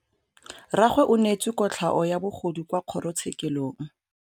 Rragwe o neetswe kotlhaô ya bogodu kwa kgoro tshêkêlông.